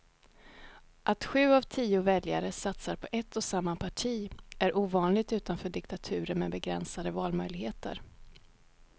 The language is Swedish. Att sju av tio väljare satsar på ett och samma parti är ovanligt utanför diktaturer med begränsade valmöjligheter.